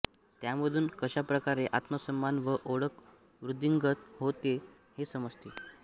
त्यामधुन कशा प्रकारे आत्मसन्मान व ओळख वृद्धिंगत होते ते समजते